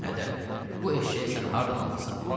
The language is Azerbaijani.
Ədə, bu eşşəyi sən hardan almısan?